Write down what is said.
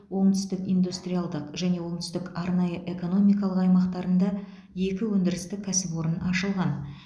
оңтүстік индустриалдық және оңтүстік арнайы экономикалық аймақтарында екі өндірістік кәсіпорын ашылған